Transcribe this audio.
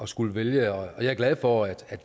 skulle vælge og jeg er glad for at